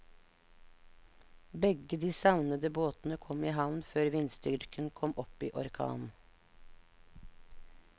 Begge de savnede båtene kom i havn før vindstyrken kom opp i orkan.